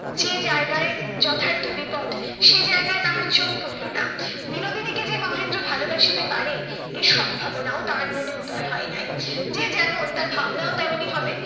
যে জায়গায় যথার্থ বিপদ, সে জায়গায় তাহার চোখ পড়িল না। বিনোদিনীকে যে মহেন্দ্র ভালোবাসিতে পারে এ সম্ভাবনাও তাহার মনে উদয় হয় নাই। যে যেমন তার ভাবনাও তেমনি হবে।